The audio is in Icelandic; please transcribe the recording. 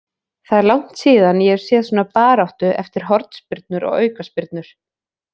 Það er langt síðan ég hef séð svona baráttu eftir hornspyrnur og aukaspyrnur.